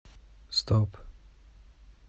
стоп